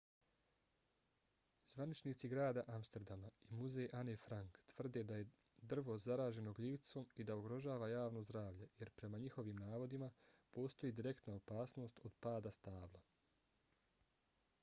zvaničnici grada amsterdama i muzej ane frank tvrde da je drvo zaraženo gljivicom i da ugrožava javno zdravlje jer prema njihovim navodima postoji direktna opasnost od pada stabla